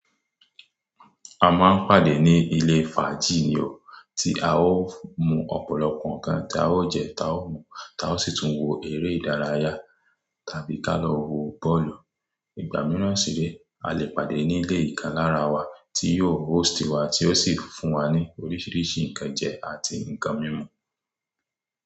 A máa ń pàdé ní ilé fàájì ni o, tí a ó mu ọ̀pọ̀lọpọ̀ nǹkan tí a ó jẹ, táa ó mu, táa ó sì tún wo eré ìdárayá tàbí ká lọ wo bọ́ọ̀lù. Ìgbà mìíràn sì ré, a lè pàdé nílé ìkan lára wa tí yóò host wa tí ó sì fún wa ní oríṣiríṣi ǹkan jẹ àti ǹkan mímu.